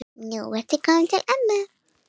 Nú ertu kominn til ömmu.